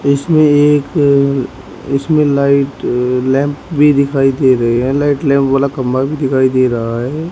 इसमें एक इसमें लाइट लैंप भी दिखाई दे रहे हैं लाइट लैंप वाला खंभा भी दिखाई दे रहा है।